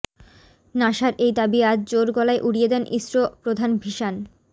নাসার এই দাবি আজ জোর গলায় উড়িয়ে দেন ইসরো প্রধান সিভান